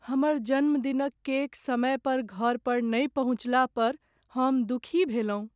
हमर जन्मदिनक केक समय पर घर पर नहि पहुँचला पर हम दुखी भेलहुँ।